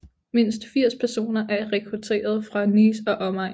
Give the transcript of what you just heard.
Mindst 80 personer er rekrutteret fra Nice og omegn